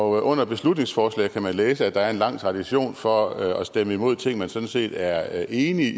under beslutningsforslag kan man læse at der er en lang tradition for at stemme imod ting man sådan set er enig